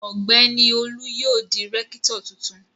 Ọ̀gbẹ́ni Olu yóò di rẹ́kítọ̀ tuntun.